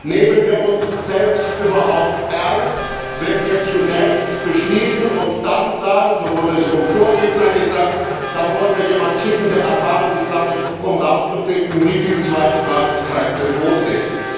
Nehmen wir uns selbst überhaupt ernst, wenn wir zunächst beschließen, und dann sagen so wurde es vom Vorredner gesagt dann wollen wir jemanden schicken, der Erfahrungen sammelt, um herauszufinden, wie die Zweisprachigkeit bedroht ist.